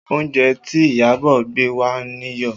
Oúnjẹ tí Iyabọ̀ gbé wá níyọ̀